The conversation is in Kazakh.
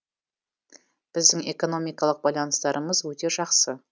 біздің экономикалық байланыстарымыз өте жақсы